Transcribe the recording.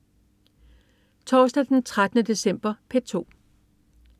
Torsdag den 13. december - P2: